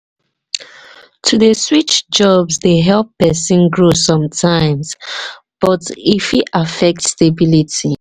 to dey switch jobs dey help pesin grow sometimes but e sometimes but e fit affect stability.